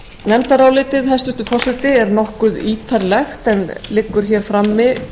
nefndarálitið hæstvirtur forseti er nokkuð ítarlegt en liggur hér frammi